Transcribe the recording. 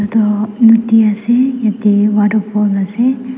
toh nodi ase yatae waterfall ase.